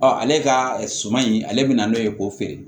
ale ka suman in ale bɛ na n'o ye k'o feere